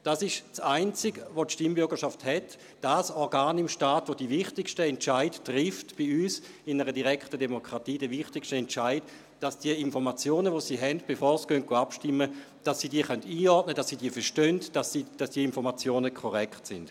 Dies ist das Einzige, was die Stimmbürgerschaft hat, dasjenige Organ im Staat, das bei uns die wichtigsten Entscheidungen trifft, bei uns in einer direkten Demokratie: die wichtigste Entscheidung, dass die Informationen, welche sie haben, bevor sie abstimmen, einordnen können, dass sie diese verstehen, dass diese Informationen korrekt sind.